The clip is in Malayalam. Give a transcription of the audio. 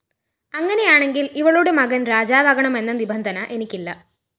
അങ്ങനെയാണെങ്കില്‍ ഇവളുടെ മകന്‍ രാജാവാകണം എന്ന നിബന്ധന എനിക്കില്ല